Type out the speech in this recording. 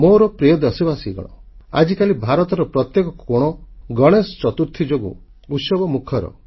ମୋର ପ୍ରିୟ ଦେଶବାସୀଗଣ ଆଜିକାଲି ଭାରତର ପ୍ରତ୍ୟେକ କୋଣ ଗଣେଶ ଚତୁର୍ଥୀ ଯୋଗୁଁ ଉତ୍ସବମୁଖର